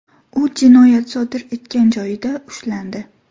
U jinoyat sodir etgan joyida ushlandi.